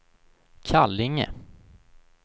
Kallinge